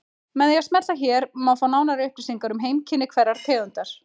Með því að smella hér má fá nánari upplýsingar um heimkynni hverrar tegundar.